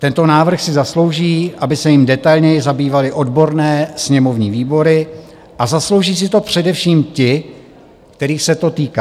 Tento návrh si zaslouží, aby se jím detailněji zabývaly odborné sněmovní výbory, a zaslouží si to především ti, kterých se to týká.